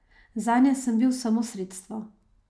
Zanje sem bil samo sredstvo.